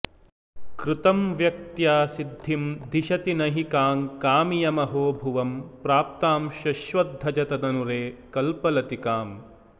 कृतं व्यक्त्या सिद्धिं दिशति नहि काङ्कामियमहो भुवं प्राप्तां शश्वद्धजत ननु रे कल्पलतिकाम्